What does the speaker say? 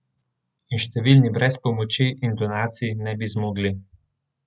In številni brez pomoči in donacij ne bi zmogli.